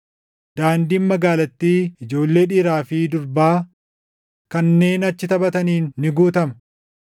Daandiin magaalattii ijoollee dhiiraa fi durbaa kanneen achi taphataniin ni guutama.”